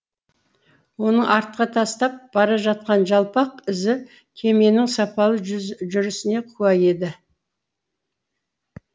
оның артқа тастап бара жатқан жалпақ ізі кеменің сапалы жүрісіне куә еді